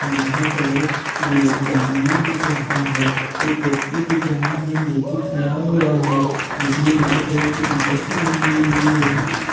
जिनका कलर जामुनी दिख रहा है। एक व्यक्ति दिख रहा है जोकि खड़ा हुआ है। जिसने लाल कलर की टीशर्ट पहनी हुई है।